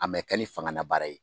A mɛ kɛ ni fangana baara ye